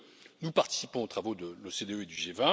2. Nous participons aux travaux de l'OCDE et du